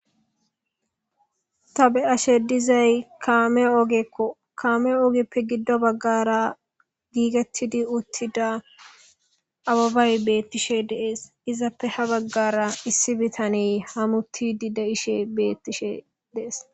ta be'ashshe dizay kame ogekko kame ogeppe giddo baggara giigettidi uttida ababay beettishshe de'ees izappe ha baggara issi bitane hamutidi de'ishshe beettishshe dees